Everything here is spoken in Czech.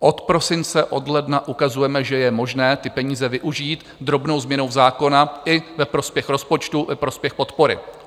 Od prosince, od ledna ukazujeme, že je možné ty peníze využít drobnou změnou zákona i ve prospěch rozpočtu, ve prospěch podpory.